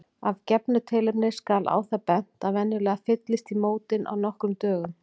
Af gefnu tilefni skal á það bent að venjulega fyllist í mótin á nokkrum dögum.